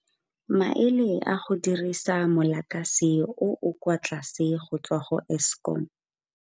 Maele a go dirisa mo lakase o o kwa tlase go tswa go Eskom.